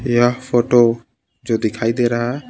यह फोटो जो दिखाई दे रहा है.